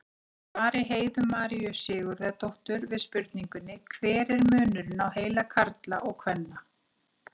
Í svari Heiðu Maríu Sigurðardóttur við spurningunni Hver er munurinn á heila karla og kvenna?